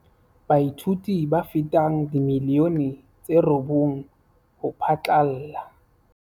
Baithuti ba fetang dimilione tse robong ho phatlalla